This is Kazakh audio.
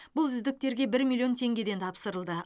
бұл үздіктерге бір миллион теңгеден тапсырылды